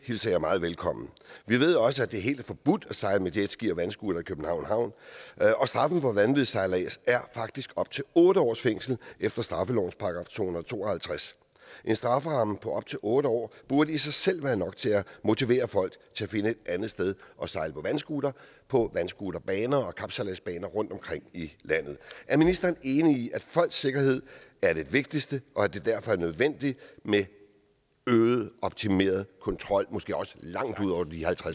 hilser jeg meget velkommen vi ved også at det er helt forbudt at sejle med jetski og vandscooter i københavns havn og straffen for vanvidssejlads er faktisk op til otte års fængsel efter straffelovens § to hundrede og to og halvtreds en strafferamme på op til otte år burde i sig selv være nok til at motivere folk til at finde et andet sted at sejle på vandscooter for på vandscooterbaner og kapsejladsbaner rundtomkring i landet er ministeren enig i at folks sikkerhed er det vigtigste og at det derfor er nødvendigt med øget optimeret kontrol måske også langt ud over